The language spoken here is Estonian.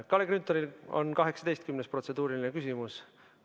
Kalle Grünthalil on 18. protseduuriline küsimus.